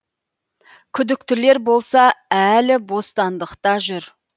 күдіктілер болса әлі бостандықта жүр